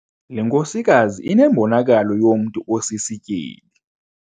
Le nkosikazi inembonakalo yomntu osisityebi.